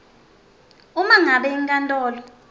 uma ngabe inkantolo